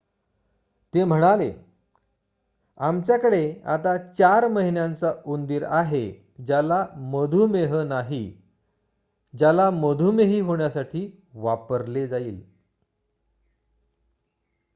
ते म्हणाले आमच्याकडे आता 4 महिन्यांचा उंदीर आहे ज्याला मधुमेह नाही ज्याला मधुमेही होण्यासाठी वापरले जाईल